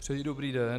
Přeji dobrý den.